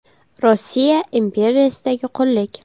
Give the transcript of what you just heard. Rossiya imperiyasidagi qullik.